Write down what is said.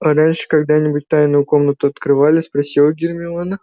а раньше когда-нибудь тайную комнату открывали спросила гермиона